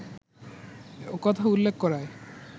ওকথা উল্লেখ করায়